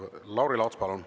Lauri Laats, palun!